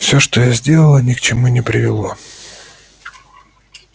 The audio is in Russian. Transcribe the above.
все что я сделала ни к чему не привело